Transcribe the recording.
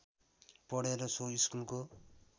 पढेर सो स्कुलको